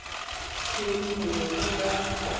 kelly o ne o na